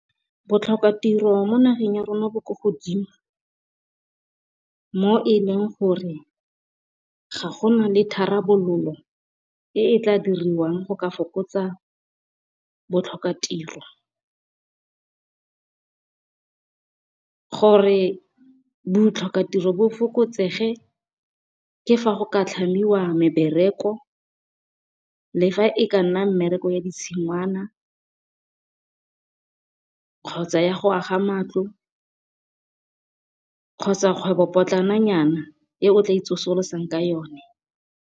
Botlhokatiro mo nageng ya rona bo ko godimo. Mo e leng gore ga gona le tharabololo e e tla dirwang go ka fokotsa botlhokatiro. Gore botlhokatiro bo fokotsege, ke fa go ka tlhamiwa mebereko le fa e ka nna mmereko ya tshingwana, kgotsa ya go aga matlo kgotsa kgwebopotlana nyana e o tla itsosolosang ka yone.